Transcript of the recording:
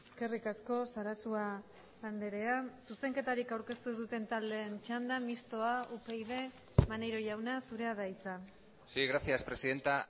eskerrik asko sarasua andrea zuzenketarik aurkeztu ez duten taldeen txanda mistoa upyd maneiro jauna zurea da hitza sí gracias presidenta